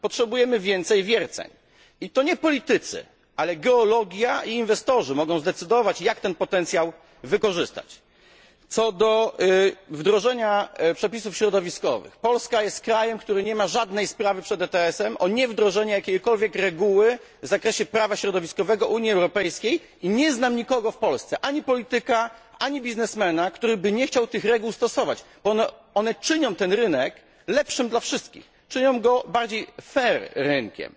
Potrzebujemy więcej wierceń i to nie politycy, ale geologia i inwestorzy mogą zdecydować, jak ten potencjał wykorzystać. Co do wdrożenia przepisów środowiskowych Polska jest krajem, który nie ma żadnej sprawy przed ETS o niewdrożenie jakiegokolwiek przepisu w zakresie prawa środowiskowego Unii Europejskiej, i nie znam nikogo w Polsce, ani polityka, ani biznesmena, kto by nie chciał tych reguł stosować, bo one czynią ten rynek lepszym dla wszystkich, czynią go bardziej fair rynkiem.